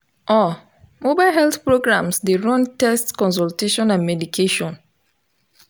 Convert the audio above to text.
uh mobile health programs dey run test consultation and medication.